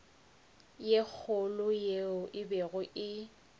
ye kgolo yeo e bego